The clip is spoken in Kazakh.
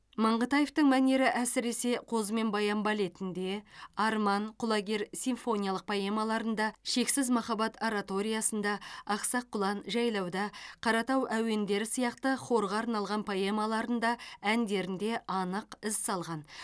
маңғытаевтың мәнері әсіресе қозы мен баян балетінде арман құлагер симфониялық поэмаларында шексіз махаббат ораториясында ақсақ құлан жайлауда қаратау әуендері сияқты хорға арналған поэмаларында әндерінде анық із салған